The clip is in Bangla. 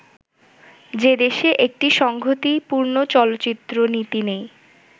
যে দেশে একটি সংগতিপূর্ণ চলচ্চিত্রনীতি নেই